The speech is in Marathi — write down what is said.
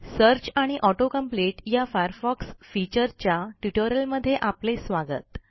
सर्च आणि ऑटो कंप्लीट या Firefoxफीचर्सच्या ट्युटोरियलमध्ये आपले स्वागत